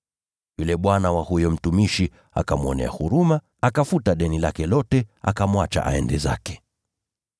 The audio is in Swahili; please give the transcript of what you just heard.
Yule bwana wa huyo mtumishi akamwonea huruma, akafuta deni lake lote, akamwacha aende zake.